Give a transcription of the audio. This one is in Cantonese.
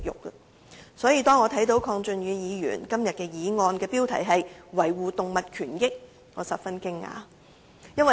因此，當我看到鄺俊宇議員今天的議案的議題是"維護動物權益"時，我感到十分驚訝。